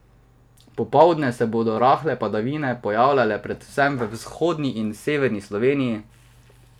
Popoldne se bodo rahle padavine pojavljale predvsem v vzhodni in severni Sloveniji.